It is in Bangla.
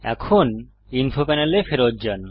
এখন ইনফো প্যানেলে ফেরত যান